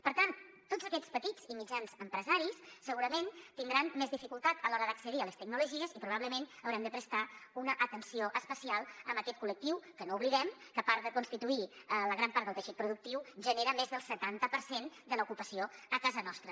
per tant tots aquests petits i mitjans empresaris segurament tindran més dificultat a l’hora d’accedir a les tecnologies i probablement haurem de prestar una atenció especial a aquest col·lectiu que no oblidem que a part de constituir la gran part del teixit productiu genera més del setanta per cent de l’ocupació a casa nostra